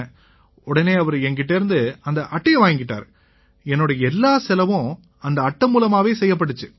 உடனே அவரு என்கிட்டேர்ந்து அந்த அட்டையை வாங்கிக்கிட்டாரு என்னோட எல்லா செலவும் அந்த அட்டை மூலமே செய்யப்பட்டிச்சு